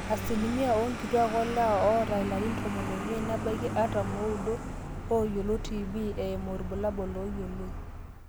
asilimia oonkituaak olewa oota ilarin tomon oimiet nebaiki artam ooudo ooyiolo tb eimu irbulabul ooyioloi